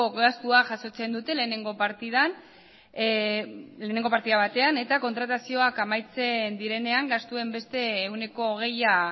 gastua jasotzen dute lehenengo partida batean eta kontratazioak amaitzen direnean gastuen beste ehuneko hogeia